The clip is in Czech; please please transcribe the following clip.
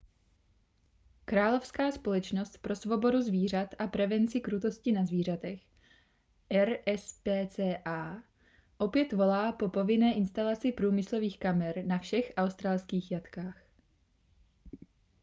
královská společnost pro svobodu zvířat a prevenci krutosti na zvířatech rspca opět volá po povinné instalaci průmyslových kamer na všech australských jatkách